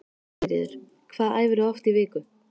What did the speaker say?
Sigríður: Hvað æfirðu oft í viku?